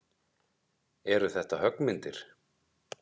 Eru þetta höggmyndir?